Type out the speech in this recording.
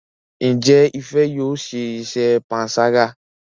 Njé Ifẹ yóò ṣe iṣé panṣaga.?